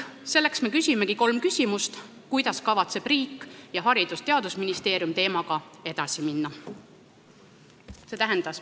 Me esitamegi nüüd kolm küsimust selle kohta, kuidas kavatsevad riik ning Haridus- ja Teadusministeerium teemaga edasi minna.